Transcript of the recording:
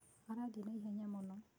Arathiĩ na ihenya mũno.